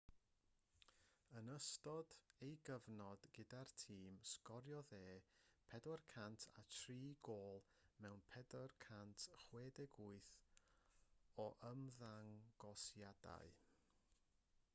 yn ystod ei gyfnod gyda'r tîm sgoriodd e 403 gôl mewn 468 o ymddangosiadau